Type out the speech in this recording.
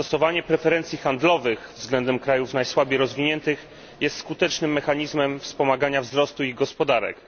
Stosowanie preferencji handlowych względem krajów najsłabiej rozwiniętych jest skutecznym mechanizmem wspomagania ich wzrostu gospodarczego.